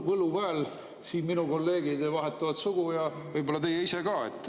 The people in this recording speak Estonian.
Võluväel siin minu kolleegid vahetavad sugu ja võib-olla teie ise ka.